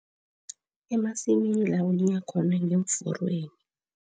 Emasimini ngeemforweni.